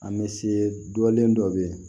An bɛ se dɔlen dɔ bɛ yen